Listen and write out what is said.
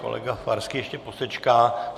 Kolega Farský ještě posečká.